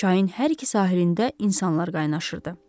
Çayın hər iki sahilində insanlar qaynaşırdı.